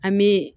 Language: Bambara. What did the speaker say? An bɛ